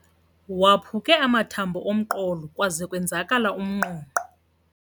Waphuke amathambo omqolo kwaze kwenzakala umnqonqo.